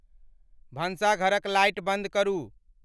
भन्साघरक light बंद करू